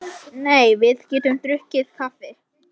Nei, við getum drukkið kaffi.